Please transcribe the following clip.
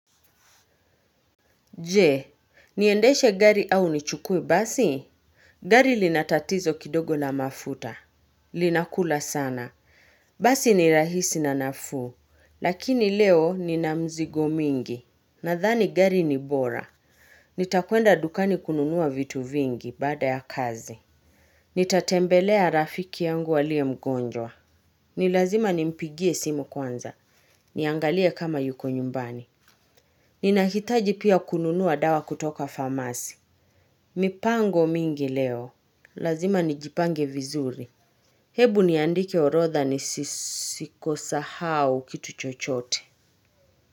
Jee, niendeshe gari au nichukue basi? Gari linatatizo kidogo la mafuta. Lina kula sana. Basi ni rahisi na nafuu. Lakini leo nina mzigo mingi. Nadhani gari ni bora. Nitakuenda dukani kununuwa vitu vingi baada ya kazi. Nitatembelea rafiki yangu aliemgonjwa. Ni lazima nimpigie simu kwanza. Niangalie kama yuko nyumbani. Ninahitaji pia kununua dawa kutoka famasi. Mipango mingi leo. Lazima nijipange vizuri. Hebu niandike orodha nisisahau kitu chochote.